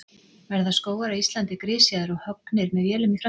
Verða skógar á Íslandi grisjaðir og höggnir með vélum í framtíðinni?